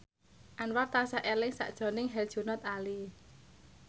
Anwar tansah eling sakjroning Herjunot Ali